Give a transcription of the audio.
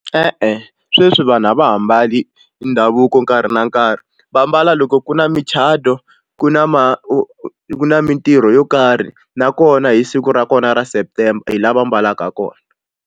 E-e sweswi vanhu a va ha mbali ndhavuko nkarhi na nkarhi va mbala loko ku na micato ku na ma ku na mintirho yo karhi nakona hi siku ra kona ra September hi laha va mbalaka kona.